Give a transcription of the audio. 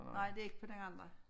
Nej det ikke på den andre